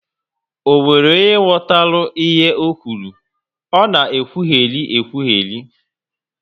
Ọ nwere onye ghọtara ihe ọ kwuru? Ọ na ekwugheri ekwugheri